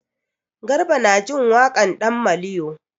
Garba na jin waƙan ɗan maliyo.